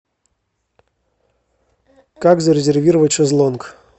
как зарезервировать шезлонг